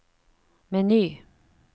meny